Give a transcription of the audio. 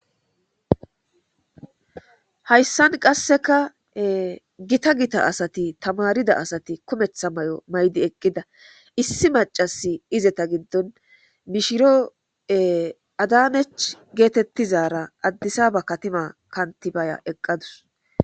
Hayssan qasseka gita gita asati tamarida asati kumetha mayo maydi eqqida issi macasi izeta giddon mishiro adanech geetettizara addisa ba katima kantibaya eqqadus.